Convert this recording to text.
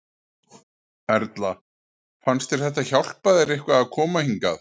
Erla: Fannst þér þetta hjálpa þér eitthvað að koma hingað?